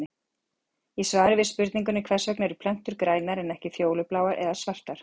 Í svari við spurningunni Hvers vegna eru plöntur grænar en ekki fjólubláar eða svartar?